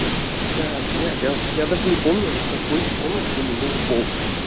так блять я даже не помню в какой из комнат я не мыл пол